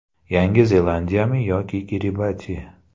Yangi Zelandiyami yoki Kiribati?